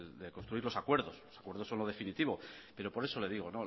de construir los acuerdos por eso lo definitivo por eso le digo